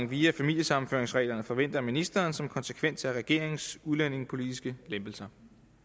via familiesammenføringsreglerne forventer ministeren som konsekvens af regeringens udlændingepolitiske lempelser